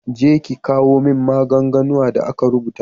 Je ki kawo min maganganun da aka rubuta.